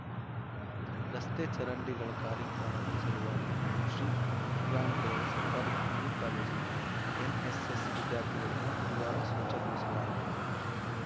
ರಸ್ತೆ ಚರಂಡಿಗಳ ಕಾರ್ಯಕ್ರಮದ ಸಲುವಾಗಿ ಶ್ರೀರಾಂಪುರದ ಸರ್ಕಾರಿ ಪಿಯು ಕಾಲೇಜಿನ ಎನ್‌ಎಸ್‌ಎಸ್‌ ವಿದ್ಯಾರ್ಥಿಗಳಿಂದ ಗುರುವಾರ ಸ್ವಚ್ಛಗೊಳಿಸಲಾಯಿತು